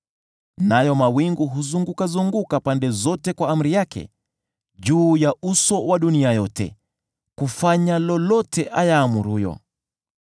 Nayo mawingu huzungukazunguka pande zote kwa amri yake, juu ya uso wa dunia yote, kufanya lolote ayaamuruyo.